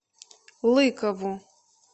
лыкову